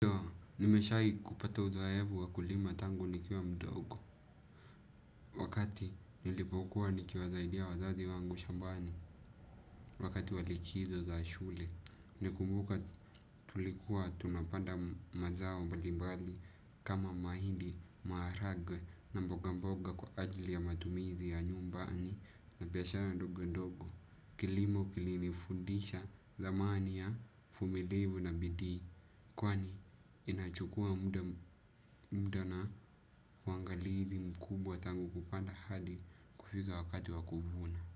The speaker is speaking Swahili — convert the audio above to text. Nimeshai kupata uzoefu wa kulima tangu nikiwa mdogo, wakati nilipokuwa nikiwasaidia wazazi wangu shambani, wakati wa likizo za shule. Nimekumbuka tulikuwa tunapanda mazao mbalimbali kama mahidi, maharagwe na mboga mboga kwa ajili ya matumizi ya nyumbani na biashara ndogo ndogo. Kilimo kilinifundisha dhamani ya, uvumilivu na bidii kwani inachukua muda muda na uangalizi mkubwa tangu kupanda hadi kufika wakati wa kuvuna.